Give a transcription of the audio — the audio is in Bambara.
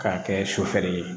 K'a kɛ sofɛrɛ ye